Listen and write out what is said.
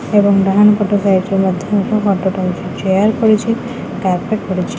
ଏବଂ ଡାହାଣ ପଟ ସାଇଟ ରେ ମଧ୍ୟ ଏକ ଗଛ ଟା ଅଛି। ଚେୟାର ପଡ଼ିଛି କାର୍ପେଟ୍ ପଡିଚି।